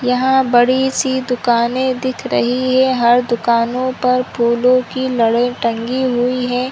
यहाँ बड़ी सी दुकाने दिख रही है हर दुकानों पर फूलों की लड़ी टंगी हुई है।